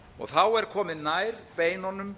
þá er komið nær beinunum